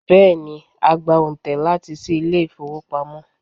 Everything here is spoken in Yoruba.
Bẹ́ẹ̀ni, a gba òǹtẹ̀ láti ṣí ilé ìfowópamọ́.